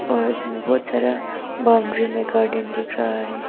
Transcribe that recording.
और उसमें बहोत सारा बाउंड्री में गार्डेन दिख रहा है।